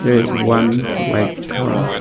There is one white cow.